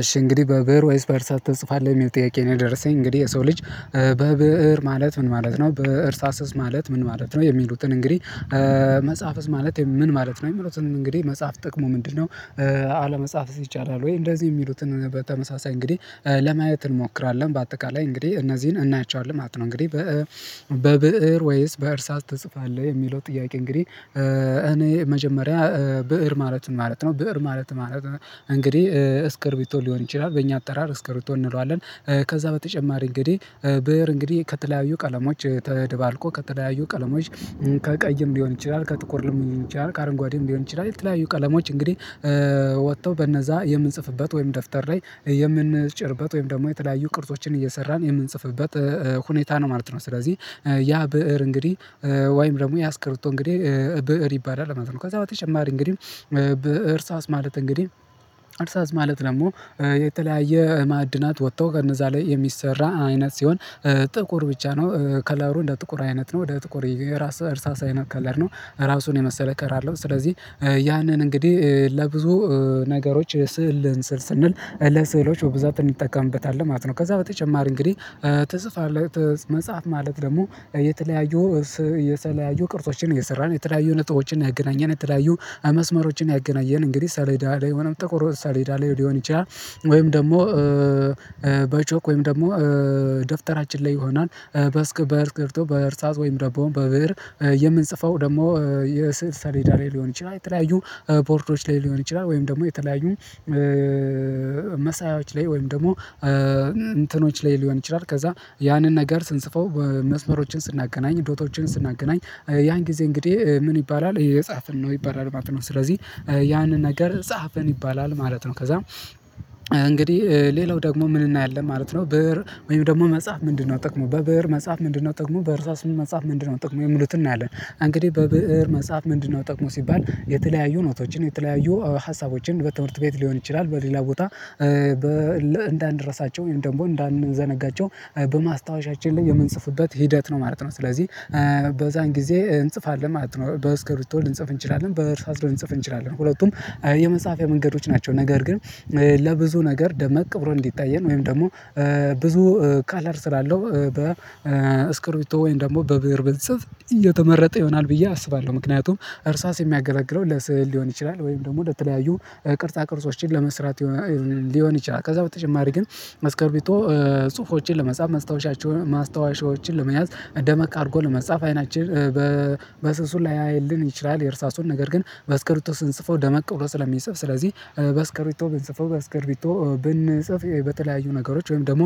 እሺ እንግዲህ በብእር ወይስ በእርሳስ ትጽፋለህ የሚል ጥያቄ ነው? የደረሰኝ እንግዲህ የሰው ልጅ በብእር ማለት ምን ማለት ነው በእርሳስስ ማለት ምን ማለት ነው የሚሉትን እንግዲህ? መጻፍስ ማለት ምን ማለት ነው የሚሉትን እንግዲህ መጽሐፍ ጥቅሙ ምንድነው? አለመጻፍስ ይቻላል ወይ? እንደዚህ የሚሉትን በተመሳሳይ እንግዲህ ለማየት እንሞክራለን በአጠቃላይ እንግዲህ እነዚህን እናያቸዋለን ማለት ነው። እንግዲህ በብእር ወይስ በእርሳስ ትጽፋለህ የሚለው ጥያቄ እንግዲህ እኔ መጀመሪያ ብእር ማለት ምን ማለት ነው? ብእር ማለት ማለት እንግዲህ እስክርቢቶ ሊሆን ይችላል በእኛ አጠራር እስክርቢቶ እንለዋለን። ከዛ በተጨማሪ እንግዲህ ብእር እንግዲህ ከተለያዩ ቀለሞች ተደባልቆ ከተለያዩ ቀለሞች ከቀይም ሊሆን ይችላል ከጥቁርም ሊሆን ይችላል ከአረንጓዴም ሊሆን ይችላል የተለያዩ ቀለሞች እንግዲህ። ወጥተው በነዛ የምንጽፍበት ወይም ደፍተር ላይ የምንጭርበት ወይም ደግሞ የተለያዩ ቅርጾችን እየሰራን የምንጽፍበት ሁኔታ ነው ማለት ነው። ስለዚህ ያ ብእር እንግዲህ ወይም ደግሞ ያስክርቶ እንግዲህ ብእር ይባላል ማለት ነው። ከዛ በተጨማሪ እንግዲህ በእርሳስ ማለት እንግዲህ እርሳስ ማለት ደግሞ የተለያየ ማዕድናት ወጥቶ ከነዛ ላይ የሚሰራ አይነት ሲሆን ጥቁር ብቻ ነው ከለሩ እንደ ጥቁር አይነት ነው ወደ ጥቁር የራስ እርሳሳ አይነት ከለር ነው። ራሱን የመሰለ ከራለሁ ስለዚህ ያንን እንግዲህ ለብዙ ነገሮች ስዕል ልን ስንል ለስዕሎች ብዛት እንጠቀምበታለን ማለት ነው። ከዛ በተጨማሪ እንግዲህ ትጽፋለህ መጽሐፍ ማለት ደግሞ የተለያዩ የተለያዩ ቅርጾችን እየሰራን የተለያዩ ነጥቦችን እያገናኘን የተለያዩ አመስመሮችን ያገናኘን እንግዲህ ሰሌዳ ላይ ወይም ጥቁር ሳሌዳ ሊሆን ይችላል። ወይም ደግሞ በቾክ ወይም ደግሞ ደፍተራችን ላይ ይሆናል በስክርቢቶ በእርሳስ ወይም ደሞ በብእር የምንጽፈው ደግሞ የስዕል ሰሌዳ ላይ ሊሆን ይችላል የተለያዩ ቦርዶች ላይ ሊሆን ይችላል ወይም ደግሞ የተለያዩ መሳያዎች ላይ ወይም ደግሞ እንትኖች ላይ ሊሆን ይችላል። ከዛ ያንን ነገር ስንጽፈው መስመሮችን ስናገናኝ ዶቶችን ስናገናኝ ያን ጊዜ እንግዲህ ምን ይባላል እየጻፍን ነው ይባላል ማለት ነው። ስለዚህ ያንን ነገር ጸሐፍን ይባላል ማለት ነው። ከዛ እንግዲህ ሌላው ደግሞ ምን እናያለን ማለት ነው። ብእር ወይም ደግሞ መጽሐፍ ምንድነው ጥቅሙ በብእር መጻፍ ምንድነው ጥቅሙ በእርሳስም መጻፍ ምንድነው ጥቅሙ የሚሉትን እናያለን። እንግዲህ በብእር መጻፍ ምንድነው ጥቅሙ ሲባል የተለያዩ ኖቶችን የተለያዩ ሀሳቦችን በትምህርት ቤት ሊሆን ይችላል በሌላ ቦታ እንዳንረሳቸው ወይ ደግሞ እንዳንዘነጋቸው በማስታወሻችን ላይ የምንጽፍበት ሂደት ነው ማለት ነው። ስለዚህ በዛን ጊዜ እንጽፋለን ማለት ነው በእስክርቢቶ ልንጽፍ እንችላለን በእእሳስ ልንጽፍ እንችላለን ሁለቱም የመጻፍያ መንገዶች ናቸው። ነገር ግን ለብዙ ነገር ደመቅ ብሎ እንዲታየን ወይም ደግሞ ብዙ ከለር ስላለው በእስክርቢቶ ወይም ደግሞ በብእር ብንጽፍ የተመረጠ ይሆናል ብዬ አስባለሁ። ምክንያቱም እርሳስ የሚያገለግለው ለስዕል ሊሆን ይችላል ወይም ደግሞ ለተለያዩ ቅርጻ ቅርጾችን ለመስራት ሊሆን ይችላል። ከዛ በተጨማሪ ግን እስክርቢቶ ጽሁፎችን ለመጻፍ ማስታወሻቸውን ማስታወሻዎችን ለመያዝ ደመቅ አድርጎ ለመጻፍ አይናችን በስሱ ላያይልን ይችላል የእርሳሱን ነገር ግን በእስክርቢቶ ስንጽፈው ደመቅ ብሎ ስለሚጽፍ ስለዚህ በእስከርቢቶ ብንጽፈው በእስስክርቢቶ ብንጽፍ በተለያዩ ነገሮች ወይም ደግሞ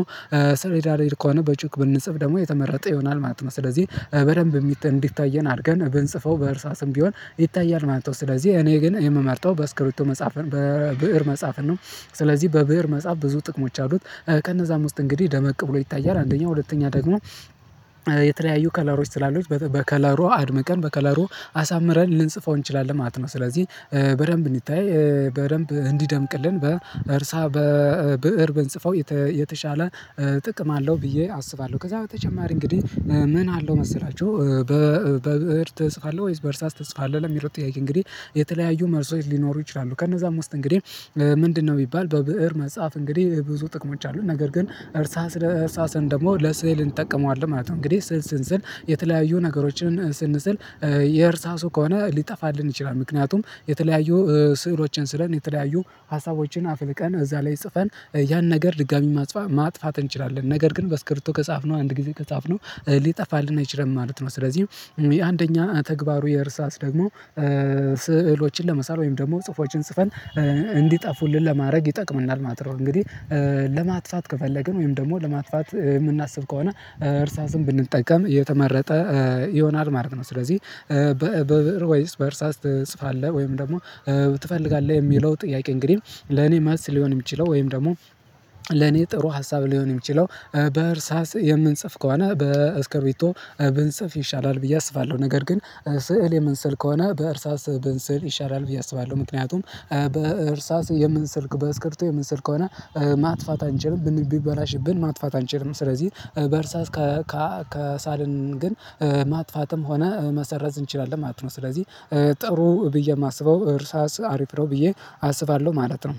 ሰሌዳ ከሆነ በቾክ ብንጽፍ ደግሞ የተመረጠ ይሆናል ማለት ነው። ስለዚህ በደንብ እንዲታየን አድርገን ብንጽፈው በእርሳስም ቢሆን ይታያል ማለት ነው። ስለዚህ እኔ ግን የምመርጠው በስክሪቶ መጽሐፍን በብእር መጽሐፍን ነው። ስለዚህ በብእር መጽሐፍ ብዙ ጥቅሞች አሉት ከነዛም ውስጥ እንግዲህ ደመቅ ብሎ ይታያል አንደኛው ሁለተኛ ደግሞ የተለያዩ ከለሮች ስላሉት በከለሩ አድምቀን በከለሩ አሳምረን ልንጽፈው እንችላለን ማለት ነው። ስለዚህ በደንብ እንዲታይ በደንብ እንዲደምቅልን በእርሳ በብእር ብንጽፈው የተሻለ ጥቅም አለው ብዬ አስባለሁ። ከዛ በተጨማሪ እንግዲህ ምን አለው መሰላችሁ በብእር ትጽፋለህ ወይስ በእርሳስ ትጽፋለህ ለሚለው ጥያቄ? እንግዲህ የተለያዩ መልሶ ሊኖሩ ይችላሉ ከነዛም ውስጥ እንግዲህ ምንድነው ቢባል በብእር መጽሐፍ እንግዲህ ብዙ ጥቅሞች አሉት ነገር ግን እርሳስ እርሳሰን ደግሞ ለስእል እንጠቀመዋለን ማለት ነው። እንግዲህ ስዕል ስንስል የተለያዩ ነገሮችን ስንስል የእርሳሱ ከሆነ ሊጠፋልን ይችላል ምክንያቱም የተለያዩ ስዕሎችን ስለን የተለያዩ ሀሳቦችን አፍልቀን እዛ ላይ ጽፈን ያን ነገር ድጋሚ ማጽፋት ማጥፋት እንችላለን ነገር ግን በስክርቶ ከጻፍነው አንድ ጊዜ ከጻፍነው ሊጠፋልን አይችልም ማለት ነው። ስለዚህ አንደኛ ተግባሩ የእርሳስ ደግሞ ስዕሎችን ለመሳል ወይም ደግሞ ጽፎችን ጽፈን እንዲጠፉልን ለማድረግ ይጠቅምናል ማለት ነው። እንግዲህ ለማጥፋት ከፈለግን ወይም ደግሞ ለማጥፋት ምናስብ ከሆነ እርሳስም ብንጠቀም የተመረጠ ይሆናል ማለት ነው። ስለዚህ በብእር ወይስ በእርሳስ ትጽፋለህ ወይም ደግሞ ትፈልጋለህ የሚለው ጥያቄ? እንግዲህ ለኔ መልስሊሆን የሚችለው ወይም ደግሞ ለኔ ጥሩ ሀሳብ ሊሆን የሚችለው በእርሳስ የምንጽፍ ከሆነ በእስከቢቶ ብንጽፍ ይሻላል ብዬ አስባለሁ። ነገር ግን ስዕል የምንሰል ከሆነ በእርሳስ ብንስል ይሻላል ብዬ አስባለሁ። ምክንያቱም በእርሳስ የምንስል በስክርቶ የምንስል ከሆነ ማጥፋት አንችልም ቢበላሽብን ማጥፋት አንችልም። ስለዚህ በእርሳስ ከሳልን ግን ማጥፋትም ሆነ መሰረዝ እንችላለን ማለት ነው። ስለዚህ ጥሩ ብዬ ማስበው እርሳስ አሪፍ ነው ብዬ አስባለሁ ማለት ነው።